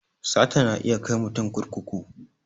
Sata na iya kai mutum kurkuku